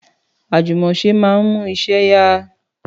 Àjùmọ̀ṣe máa ń mú iṣẹ́ yá